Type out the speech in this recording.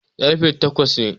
ƙarfe takes ne